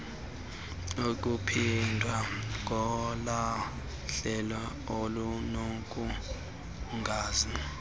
ukuphindwa kolahlelo olunobungozi